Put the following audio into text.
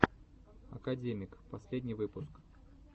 академик последний выпуск